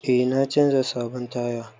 Eh na canza sabon taya.